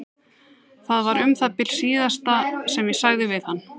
Það var um það bil það síðasta sem ég sagði við hann.